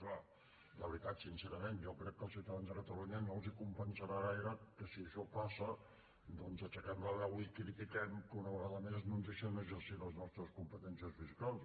i clar la veritat sincerament jo crec que als ciutadans de catalunya no els compensarà gaire que si això passa doncs aixequem la veu i critiquem que una vegada més no ens deixen exercir les nostres competències fiscals